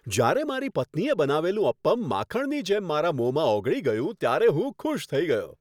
જ્યારે મારી પત્નીએ બનાવેલું અપ્પમ માખણની જેમ મારા મોંમાં ઓગળી ગયું, ત્યારે હું ખુશ થઈ ગયો.